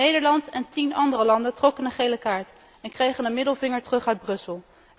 Nederland en tien andere landen trokken een gele kaart en kregen een middelvinger terug uit Brussel.